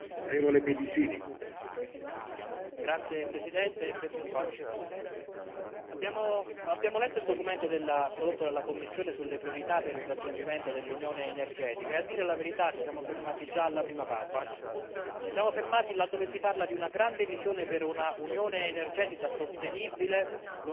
Signor Presidente, onorevoli colleghi, Vicepresidente, abbiamo letto il documento prodotto dalla Commissione sulle priorità per il raggiungimento dell'unione energetica e, a dire la verità, ci siamo fermati già alla prima pagina. Ci siamo fermati là dove si parla di una grande visione per un'unione energetica sostenibile, lontana dalle fonti fossili e decarbonizzata.